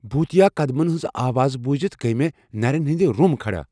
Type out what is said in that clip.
بھوُتیا قدمن ہنز آواز بوُزِتھ گیہ مے٘ نرین ہندِ رٗم كھڈا ۔